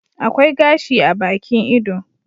Akwai gashi a Bakin ido